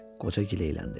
Qoca gileyləndi.